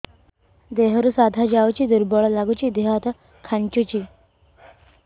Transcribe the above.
ଦେହରୁ ସାଧା ଯାଉଚି ଦୁର୍ବଳ ଲାଗୁଚି ଦେହ ହାତ ଖାନ୍ଚୁଚି